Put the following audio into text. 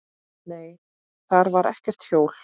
Nei, þar var ekkert hjól.